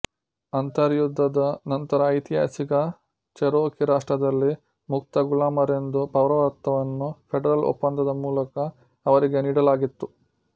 ಅಂತರ್ಯುದ್ಧದ ನಂತರ ಐತಿಹಾಸಿಕ ಚೆರೋಕೀ ರಾಷ್ಟ್ರದಲ್ಲಿ ಮುಕ್ತ ಗುಲಾಮರೆಂದು ಪೌರತ್ವವನ್ನು ಫೆಡರಲ್ ಒಪ್ಪಂದದ ಮೂಲಕ ಅವರಿಗೆ ನೀಡಲಾಗಿತ್ತು